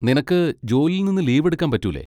നിനക്ക് ജോലിയിൽ നിന്ന് ലീവെടുക്കാൻ പറ്റൂലെ?